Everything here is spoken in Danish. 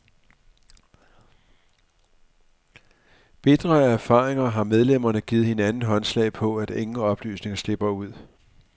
Bitre af erfaringer har medlemmerne givet hinanden håndslag på, at ingen oplysninger slipper ud.